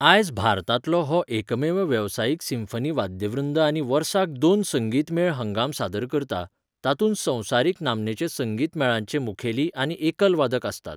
आयज भारतांतलो हो एकमेव वेवसायीक सिम्फनी वाद्यवृंद आनी वर्साक दोन संगीत मेळ हंगाम सादर करता, तातूंत संवसारीक नामनेचे संगीत मेळांचे मुखेली आनी एकलवादक आसतात.